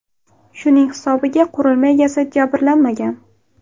Shuning hisobiga qurilma egasi jabrlanmagan.